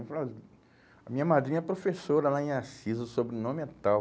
Eu falei, ah, a minha madrinha é professora lá em Assis, o sobrenome é tal.